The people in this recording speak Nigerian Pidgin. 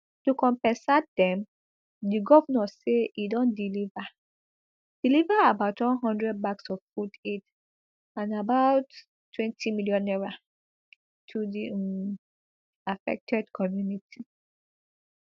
to compensat dem di govnor say e don deliver deliver about one hundred bags of food aid and about twenty million naira to di um affected community